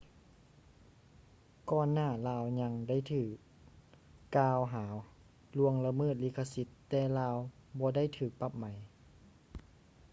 ກ່ອນໜ້າລາວຍັງໄດ້ຖືກ່າວຫາລ່ວງລະເມີດລິຂະສິດແຕ່ລາວບໍ່ໄດ້ຖືກປັບໄໝ